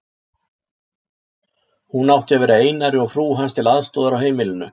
Hún átti að vera Einari og frú hans til aðstoðar á heimilinu.